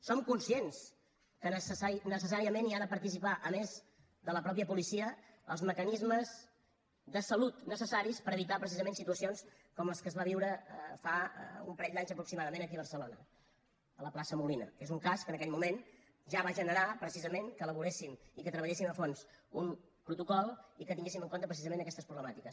som conscients que necessàriament hi han de participar a més de la mateixa policia els mecanismes de salut necessaris per evitar precisament situacions com la que es va viure fa un parell d’anys aproximadament aquí a barcelona a la plaça molina que és un cas que en aquell moment ja va generar precisament que elaboréssim i que treballéssim a fons un protocol i que tinguéssim en compte precisament aquestes problemàtiques